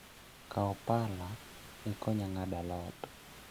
Kau pala ikonya ng'ado alot